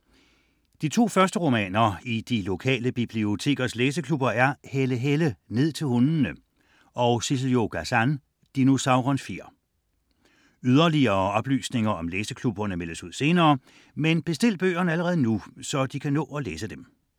De to første romaner i de lokale bibliotekers læseklubber er Helle Helle: Ned til hundene og Sissel-Jo Gazan: Dinosaurens fjer. Yderligere oplysninger om læseklubberne meldes ud senere, men bestil bøgerne allerede nu, så du kan nå at læse dem.